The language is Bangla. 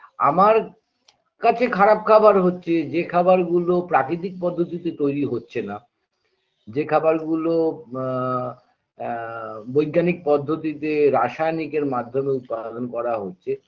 আমার কাছে খারাপ খাবার হচ্ছে যে খাবার গুলো প্রাকৃতিক পদ্ধতিতে তৈরি হচ্ছে না যে খাবার গুলো আ আ বৈজ্ঞানিক পদ্ধতিতে রাসায়নিকের মাধ্যমে উৎপাদন করা হচ্ছে